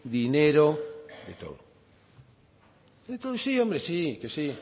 dinero de todo de todo sí hombre hombre sí que sí